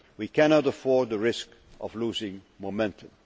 We cannot afford to risk losing momentum.